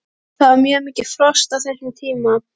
Það var mjög mikið frost á þessum tíma.